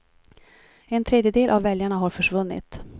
En tredjedel av väljarna har försvunnit.